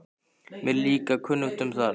Mér er líka kunnugt um það.